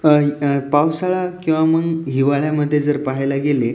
अ पावसाळा किंवा मग हिवाळ्या मध्ये पाहायला गेले--